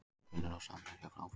Gunnar og samherjar áfram